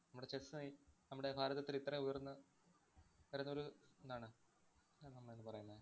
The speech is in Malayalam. നമ്മുടെ chess നായി നമ്മുടെ ഭാരതത്തില്‍ ഇത്രയും ഉയര്‍ന്ന് വിരുന്നൊരു ഏതാണ് ഏതാണ് നമ്മള് പറയുന്ന